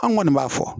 An kɔni b'a fɔ